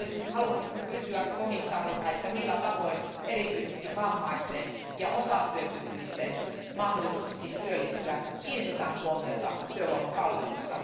Olisinkin halunnut kysyä komission jäseneltä, että millä tavoin erityisesti vammaisten ja osatyökykyisten mahdollisuuksiin työllistyä kiinnitetään huomiota työvoimapalveluissa.